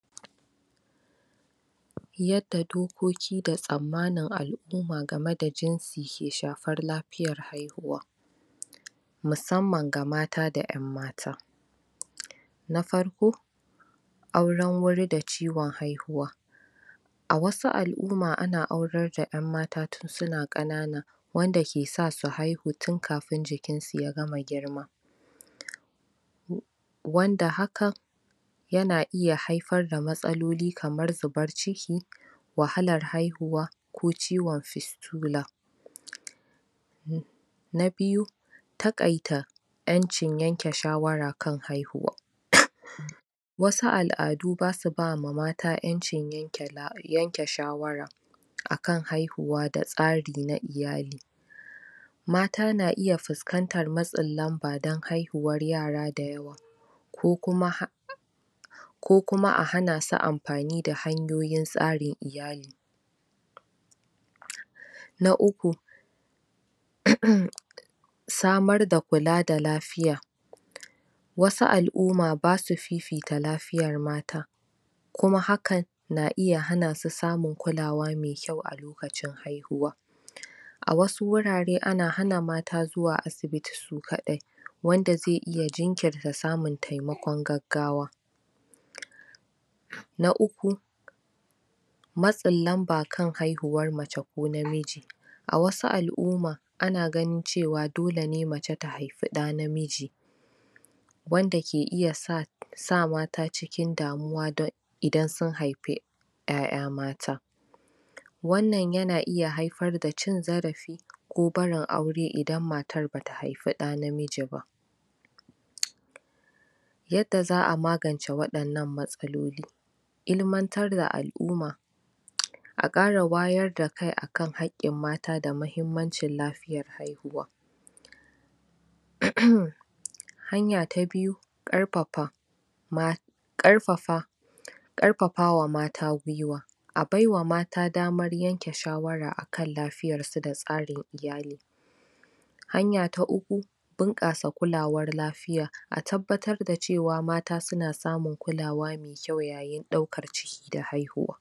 Wannan dai hoto yana nuna mana cewa wata gona ce ta inibi da aka yanko aka zuba a cikin wani kwando na wato na kaba ko kuma na makamancin kaba, tunda dai wannan dai za'a iya cewa sakar sa ba ta hausawa bane, ko kuma ta wani mutumin Africa, wannann dai za'a iya cewa saka ce irin ta turawan zamani suke amfani dashi wajen zuba wannan inibi, da inibi ne dai gashi nan yayi kyau da kuma ragowar dan ganyen sa a jiki, dan ga daya,, biyu, uku, hudu, biyar da ya nuna mana wato zangarniyar sa a jiki, wato ba'a gama yanke shi ba, kuma galibin irin wannan inibin ana samun sa ne a kasashen turawa kuma wannan gona ce dama zaka iya cewata turawa, ga duhuwa nan a kuma ciyayi daban daban, wanda shi dama ba wai ana noman shi bane da lokacin damuna, su Allah ya basu fasahar turawan nan Allah Ya basu fasahar yin shuka kala kala ba sai ta damuna ba, wani galibin ma sukan sa wani abu ko kuma tanki da abinda za'a baibaye shi da mayami wanda zai hana shi daukan kwari ko kuma wasu halittu da zasu cutar da wannan bishiya, ita dai wannan kwando na me alamar kaba an saka shine da karare domin daukan abinda aka zuba madauki ne na inibi da aka ajje a kasa, kasar da take ta bushe ba kamar jigaqqiya bace sosai kuma 'ya'yan wato ganyayyakin da suka bushe da kirare a wajen, suka baibaye wajen kuma wurin yayi kyau sosai, da kuma kara bayyana tsarin kyau a wajen wajen yana da launi ruwan madara madara da kuma kalar, a jikin shi, wata launi me dan tsagi a jikin shi, kuma koren ciyayi da ganyayyaki sun kawata shi, kuma wato wannan inibi da yake bishiyar madauki ne da za'a kai ko dan aci ko kuma dan a siyar dai, ita dai wannan za'a iya cewa ko kasuwa za'a kai shi ba sai dai wani abu, wannan abinci ne na amfanin mutum guda kuma na mutum guda ne wanda zai iya bawa wasu.